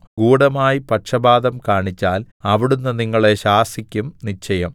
ഗൂഢമായി പക്ഷപാതം കാണിച്ചാൽ അവിടുന്ന് നിങ്ങളെ ശാസിക്കും നിശ്ചയം